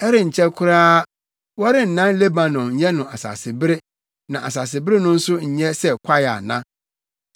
Ɛrenkyɛ koraa, wɔrennan Lebanon nyɛ no asasebere na asasebere no nso nyɛ sɛ kwae ana?